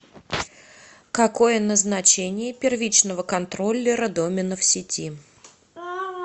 какое назначение первичного контроллера домена в сети